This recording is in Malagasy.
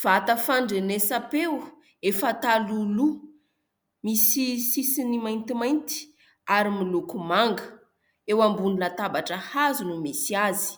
Vata fandrenesa-peo efa talohaloha misy sisiny mainty mainty ary miloko manga eo ambony latabatra hazo no misy azy,